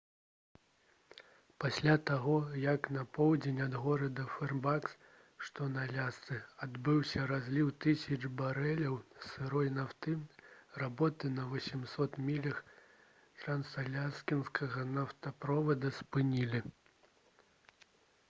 пасля таго як на поўдзень ад горада фэрбанкс што на алясцы адбыўся разліў тысяч барэляў сырой нафты работы на 800 мілях трансаляскінскага нафтаправода спынілі